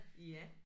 Ja